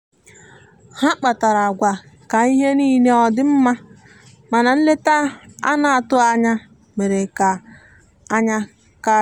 ha kpara agwa ka ihe nile ọdi mma mana nleta ana atụghi anya mere ka anya kari